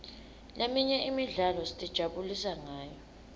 leminye imidlalo sitijabulisa ngayo